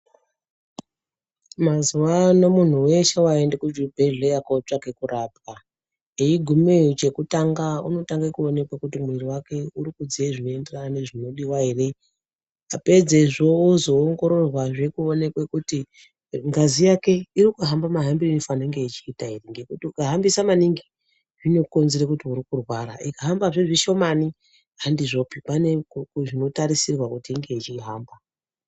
Mazuwa ano muntu weshe waenda kuzvibhedhleya kotsvaka kurapwa eyigumeyo chekutanga unotanga kuonekwa kuti mwiri wake urikudziya zvinoenderana nezvinodiwa ere apedze izvozvo oongororwazve kuonekwa kuti ngazi yake ikuhamba mahambire ainofanirwa kunge ichiita ere ngekuti ukahambise maningi zvinokombise kuti uri kurwara ikahamba zve zvishomani handizvopi pane zvinotarisirwa kuti inge ichihamba .